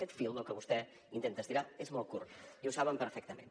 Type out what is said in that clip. aquest fil que vostè intenta estirar és molt curt i ho saben perfectament